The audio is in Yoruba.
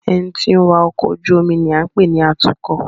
Ẹni tí ó ń wa ọkọ̀ ojú omi ni à ń pè ní Atúkọ̀